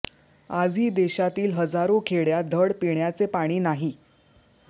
आजही देशातील हजारो खेडय़ांत धड पिण्याचे पाणी नाही